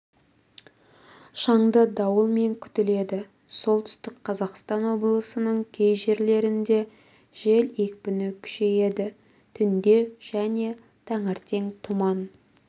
шаңды дауылмен күтіледі солтүстік қазақстан облысының кей жерлерінде жел екпіні күшейеді түнде және таңертең тұман